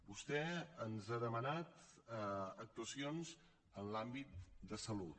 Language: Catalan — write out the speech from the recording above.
vostè ens ha demanat actuacions en l’àmbit de salut